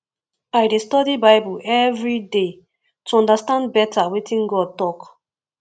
i dey study bible every day to understand better wetin god talk